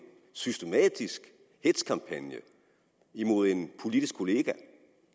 systematisk hetzkampagne imod en politisk kollega